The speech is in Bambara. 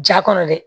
Ja kɔnɔ dɛ